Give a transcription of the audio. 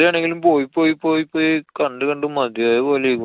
വെറുതെയാണെങ്കിലും പോയി പോയി പോയി കണ്ടു കണ്ടു മതിയായ പോലെ